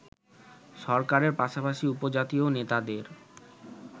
সরকারের পাশাপাশি উপজাতীয় নেতাদের